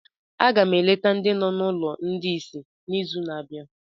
Aga m eleta ndị nọ na ụlọ ndị ìsì n'izu na-abịa